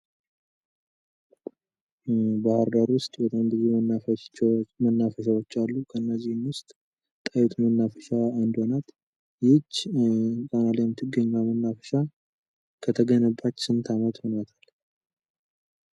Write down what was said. ባህር ዳር ውስጥ በጣም ብዙ መናፈሻዎች አሉ። እነዚህም ውስጥ ጣይቱ መናፈሻ አንዷ ናት። ይህች ጣና ላይ የምትገኝ መናፈሻ ከተገነባች ስንት አመት ሆኗታል?